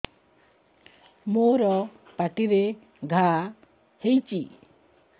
ମୋର ପାଟିରେ ଘା ହେଇଚି